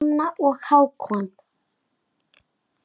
Hanna og Hákon.